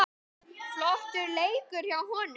Flottur leikur hjá honum.